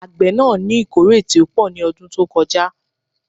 Àgbé náà ní ìkórè tí ó pò ní ọdún tó kọ já